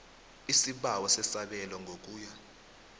isibawo sesabelo ngokuya